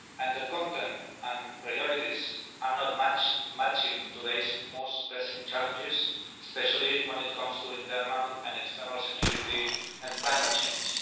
The content and priorities do not match today's most pressing challenges, especially when it comes to internal and external security and climate change.